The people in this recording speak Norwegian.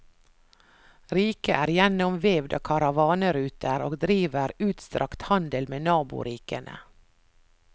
Riket er gjennomvevd av karavaneruter, og driver utstrakt handel med naborikene.